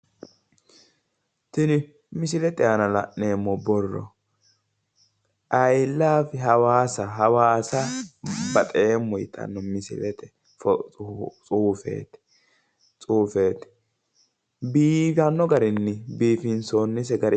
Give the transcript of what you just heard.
Tini misilete aana la'neemmo borooi i laavi hawaasa hawaasa baxeemmo yitanno tsuufeeti, bifanno garinni biifinsoonisete.